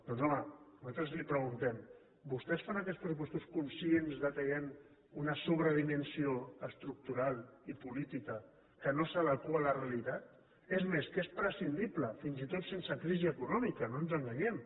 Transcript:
doncs home nosaltres li preguntem vostès fan aquests pressupostos conscients que hi ha una sobredimensió estructural i política que no s’adequa a la realitat és més que és prescindible fins i tot sense crisi econòmica no ens enganyem